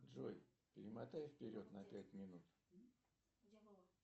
джой перемотай вперед на пять минут